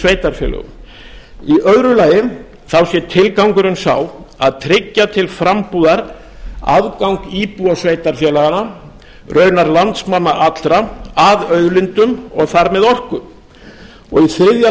sveitarfélögum í öðru lagi sé tilgangurinn sá að tryggja til frambúðar aðgang íbúa sveitarfélaganna raunar landsmanna allra að auðlindum og þar með orku í þriðja